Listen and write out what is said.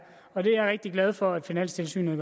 og det er jeg rigtig glad for at finanstilsynet